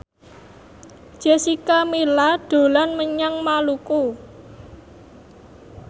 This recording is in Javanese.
Jessica Milla dolan menyang Maluku